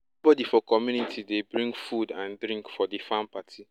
everybody for community dey bring food and drink for di farm party